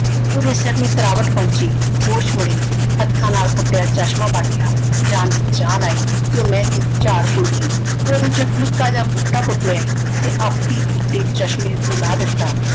ਓਹਦੇ ਸਿਰ ਨੂੰ ਤਰਾਵਤ ਪਹੁੰਚੀ। ਹੋਸ਼ ਮੁੜੀ ਹੱਥਾਂ ਨਾਲ ਫੁੱਟਿਆ ਚਸ਼ਮਾਂ ਬਣ ਗਿਆ। ਜਾਨ ਵਿੱਚ ਜਾਨ ਆਈ ਤੇ ਉਹ ਮਹਿੰਦੀ ਦੀ ਚਾੜ੍ਹ ਭੁੱਲ ਗਈ। ਓਹਦੇ ਚੋਂ ਇੱਕ ਨਿੱਕਾ ਜਾ ਬੂਟਾ ਪੁੱਟ ਲਿਆਈ ਤੇ ਆਪੀ ਕੁੱਟੇ ਚਸ਼ਮੇ ਉੱਤੇ ਲਾ ਦਿੱਤਾ।